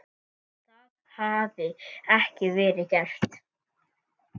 Það hafi ekki verið gert.